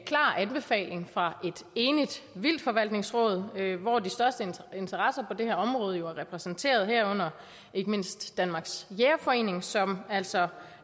anbefaling fra et enigt vildtforvaltningsråd hvor de største interesser på det her område jo er repræsenteret herunder ikke mindst danmarks jægerforening som altså